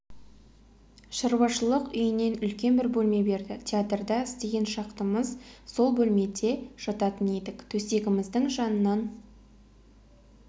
шаруашылық үйінен үлкен бір бөлме берді театрда істеген шақтымыз сол бөлмеде жататын едік төсегіміздің жанынан